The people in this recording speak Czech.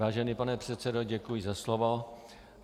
Vážený pane předsedo, děkuji za slovo.